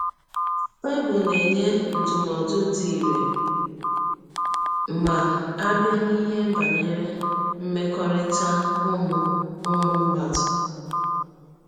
Bible na - enye ndụmọdụ dị irè ma a bịa n’ihe banyere mmekọrịta ụmụ ụmụ mmadụ.